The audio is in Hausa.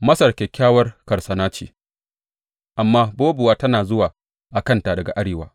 Masar kyakkyawar karsana ce, amma bobuwa tana zuwa a kanta daga arewa.